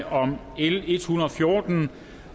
om l en hundrede og fjorten